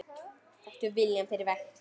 Taktu viljann fyrir verkið.